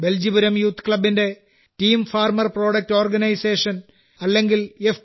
Beljipuram youth ക്ലബ്ബിന്റെ team farmer product organisation അല്ലെങ്കിൽ F